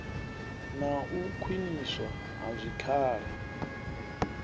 na u khwiniswa ha zwikhala